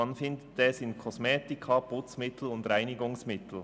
Man findet es in Kosmetika, Putzmitteln und Reinigungsmitteln.